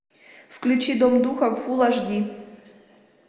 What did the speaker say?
включи дом духов фулл айч ди